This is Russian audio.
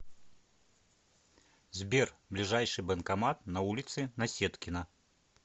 сбер ближайший банкомат на улице наседкина